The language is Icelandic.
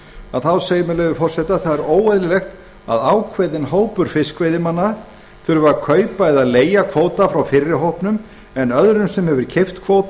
lögsögu einnig segir að óeðlilegt sé að ákveðinn hópur fiskveiðimanna þurfi að kaupa eða leigja kvóta frá fyrri hópnum en öðrum sem hefur keypt kvóta af